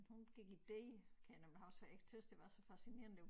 Hun gik i D kan jeg nemlig huske for jeg tøs det var så fascinerende det var